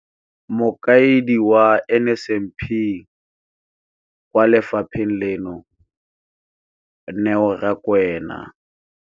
Mokaedi wa NSNP kwa lefapheng leno, Neo Rakwena,